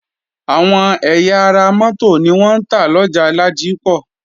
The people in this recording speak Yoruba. Àwọn ẹ̀yà ara mótò ni wọ́n ń tà lọjà Ládípọ̀